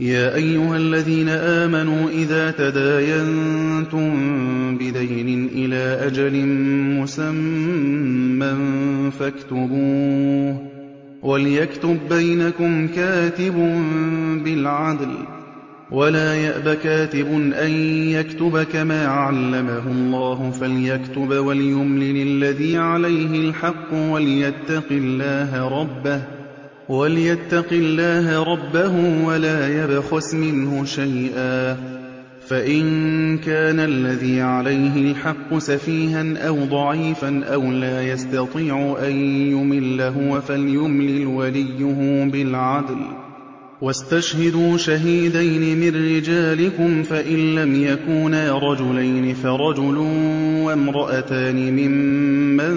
يَا أَيُّهَا الَّذِينَ آمَنُوا إِذَا تَدَايَنتُم بِدَيْنٍ إِلَىٰ أَجَلٍ مُّسَمًّى فَاكْتُبُوهُ ۚ وَلْيَكْتُب بَّيْنَكُمْ كَاتِبٌ بِالْعَدْلِ ۚ وَلَا يَأْبَ كَاتِبٌ أَن يَكْتُبَ كَمَا عَلَّمَهُ اللَّهُ ۚ فَلْيَكْتُبْ وَلْيُمْلِلِ الَّذِي عَلَيْهِ الْحَقُّ وَلْيَتَّقِ اللَّهَ رَبَّهُ وَلَا يَبْخَسْ مِنْهُ شَيْئًا ۚ فَإِن كَانَ الَّذِي عَلَيْهِ الْحَقُّ سَفِيهًا أَوْ ضَعِيفًا أَوْ لَا يَسْتَطِيعُ أَن يُمِلَّ هُوَ فَلْيُمْلِلْ وَلِيُّهُ بِالْعَدْلِ ۚ وَاسْتَشْهِدُوا شَهِيدَيْنِ مِن رِّجَالِكُمْ ۖ فَإِن لَّمْ يَكُونَا رَجُلَيْنِ فَرَجُلٌ وَامْرَأَتَانِ مِمَّن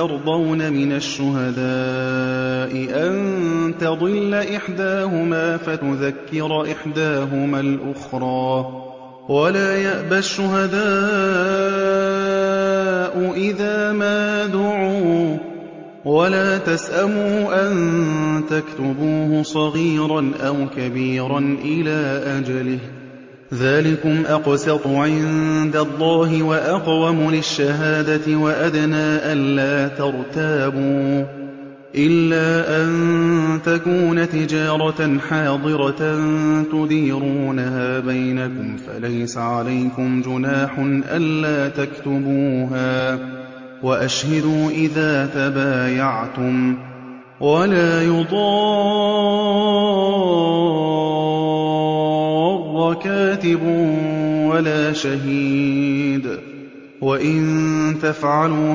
تَرْضَوْنَ مِنَ الشُّهَدَاءِ أَن تَضِلَّ إِحْدَاهُمَا فَتُذَكِّرَ إِحْدَاهُمَا الْأُخْرَىٰ ۚ وَلَا يَأْبَ الشُّهَدَاءُ إِذَا مَا دُعُوا ۚ وَلَا تَسْأَمُوا أَن تَكْتُبُوهُ صَغِيرًا أَوْ كَبِيرًا إِلَىٰ أَجَلِهِ ۚ ذَٰلِكُمْ أَقْسَطُ عِندَ اللَّهِ وَأَقْوَمُ لِلشَّهَادَةِ وَأَدْنَىٰ أَلَّا تَرْتَابُوا ۖ إِلَّا أَن تَكُونَ تِجَارَةً حَاضِرَةً تُدِيرُونَهَا بَيْنَكُمْ فَلَيْسَ عَلَيْكُمْ جُنَاحٌ أَلَّا تَكْتُبُوهَا ۗ وَأَشْهِدُوا إِذَا تَبَايَعْتُمْ ۚ وَلَا يُضَارَّ كَاتِبٌ وَلَا شَهِيدٌ ۚ وَإِن تَفْعَلُوا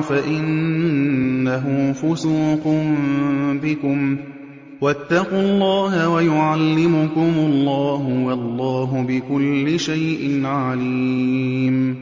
فَإِنَّهُ فُسُوقٌ بِكُمْ ۗ وَاتَّقُوا اللَّهَ ۖ وَيُعَلِّمُكُمُ اللَّهُ ۗ وَاللَّهُ بِكُلِّ شَيْءٍ عَلِيمٌ